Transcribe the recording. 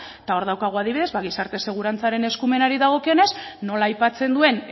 ezta eta hor daukagu adibidez gizarte segurantzaren eskumenari dagokionez nola aipatzen duen